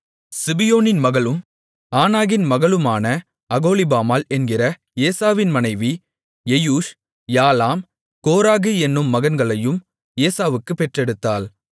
சிபியோனின் மகளும் ஆனாகின் மகளுமான அகோலிபாமாள் என்கிற ஏசாவின் மனைவி எயூஷ் யாலாம் கோராகு என்னும் மகன்களையும் ஏசாவுக்குப் பெற்றெடுத்தாள்